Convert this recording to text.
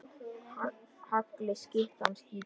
Hagli skyttan skýtur.